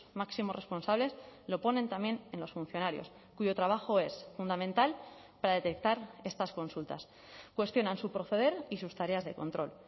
máximos responsables lo ponen también en los funcionarios cuyo trabajo es fundamental para detectar estas consultas cuestionan su proceder y sus tareas de control